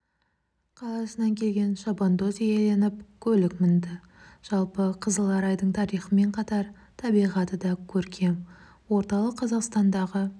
қаласынан келген шабандоз иеленіп көлік мінді жалпы қызыларайдың тарихымен қатар табиғаты да көркем орталық қазақстандағы